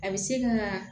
A bɛ se ka